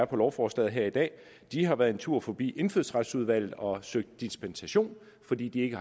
på lovforslaget her i dag har været en tur forbi indfødsretsudvalget og søgt dispensation fordi de ikke